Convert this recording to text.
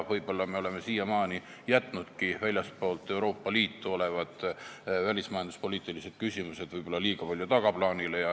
Võib-olla me oleme siiamaani jätnudki väljaspool Euroopa Liitu olevad välismajanduspoliitilised küsimused liiga palju tagaplaanile.